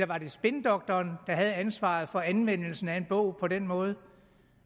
var spindoktoren der havde ansvaret for anvendelsen af en bog på den måde